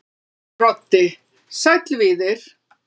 Broddi: Sæll Víðir.